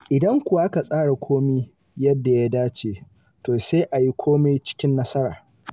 Idan kuwa aka tsara komai yadda ya dace, to sai a yi komai cikin nasara.